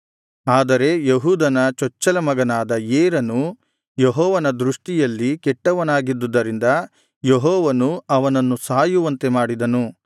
ಆದರೆ ಯೆಹೂದನ ಚೊಚ್ಚಲ ಮಗನಾದ ಏರನು ಯೆಹೋವನ ದೃಷ್ಟಿಯಲ್ಲಿ ಕೆಟ್ಟವನಾಗಿದ್ದುದರಿಂದ ಯೆಹೋವನು ಅವನನ್ನು ಸಾಯುವಂತೆ ಮಾಡಿದನು